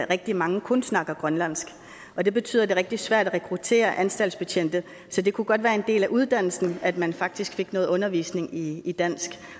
rigtig mange kun snakker grønlandsk og det betyder det rigtig svært at rekruttere anstaltsbetjente så det kunne godt være en del af uddannelsen at man faktisk fik noget undervisning i i dansk